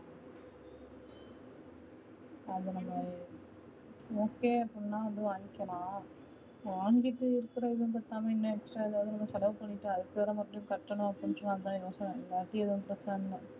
அது நம்ம okay அப்டினா வாங்கிகளா வாங்கிட்டு இருக்குறத பத்தாமா இன்னும் extra வேற செலவு பண்ணிட்டு அதுக்கு வேற மறுபடியும் கட்டணும் அப்டினு சொன்ன அதா யோச